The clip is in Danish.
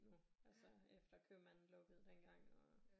Nu altså efter købmanden lukkede dengang og